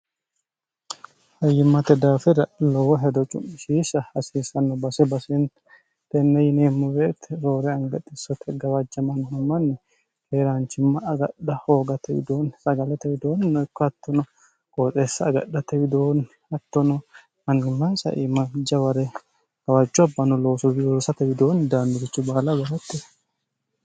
fayyimmate daafira lowo hedo cu'mishiisha hasiisanno base baseenti tenne yineemmo woyete roore anga xissote gawajjamanno manni keeraanchimma agadha hoogate widoonni sagalate widoonni ikko hattono qooxeessa agadhate widoonni hattono mannimmaansa iima jaware gawajjo abbano looso loosate widoonni daannurichu baala gargartano.